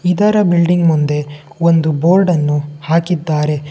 ಇದರ ಬಿಲ್ಡಿಂಗ್ ಮುಂದೆ ಒಂದು ಬೋರ್ಡ್ ಅನ್ನು ಹಾಕಿದ್ದಾರೆ.